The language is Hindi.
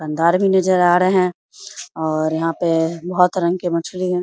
रनदार भी नज़र आ रहे हैं और यहां पे बोहोत रंग के मछली है।